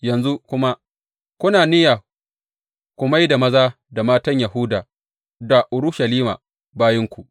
Yanzu kuma kuna niyya ku mai da maza da matan Yahuda da Urushalima bayinku.